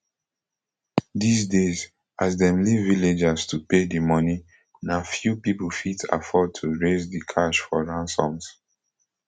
dis days as dem leave villagers to pay di moni na few pipo fit afford to raise di cash for ransoms